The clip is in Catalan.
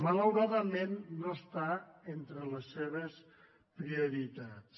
malauradament no està entre les seves prioritats